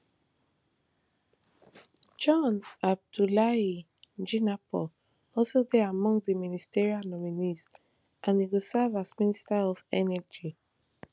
john abdulai jinapor also dey among di ministerial nominees and e go serve as minister of energy